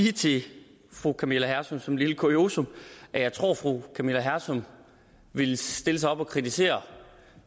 sige til fru camilla hersom som et lille kuriosum at jeg tror at fru camilla hersom ville stille sig op og kritisere